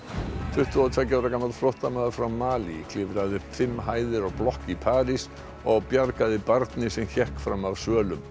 tuttugu og tveggja ára gamall flóttamaður frá Malí klifraði upp fimm hæðir á blokk í París og bjargaði barni sem hékk fram af svölum